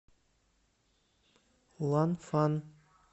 ланфан